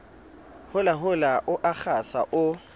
holahola o a kgasa o